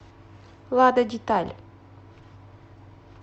лада деталь